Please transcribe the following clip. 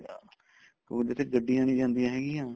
ਜਿੱਥੇ ਗੱਡੀਆਂ ਨੀ ਜਾਂਦੀਆਂ ਹੈਗੀਆਂ